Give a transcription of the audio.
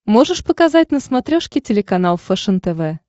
можешь показать на смотрешке телеканал фэшен тв